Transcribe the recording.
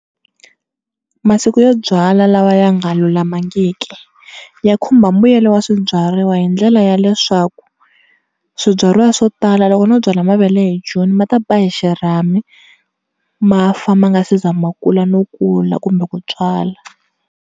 Masiku yo byala lawa ya nga lulamangiki ya khumba mbuyelo wa swibyariwa hi ndlela ya leswaku, swibyariwa swo tala loko no byala mavele hi June, ma ta ba hi xirhami ma fa ma nga si za ma kula no kula kumbe ku tswala.